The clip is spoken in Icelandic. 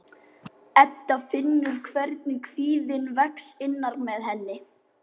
Edda finnur hvernig kvíðinn vex innra með henni.